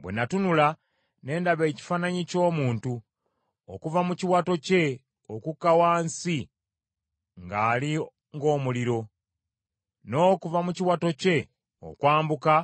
Bwe natunula ne ndaba ekifaananyi ky’omuntu, okuva mu kiwato kye okukka wansi ngali ng’omuliro, n’okuva mu kiwato kye okwambuka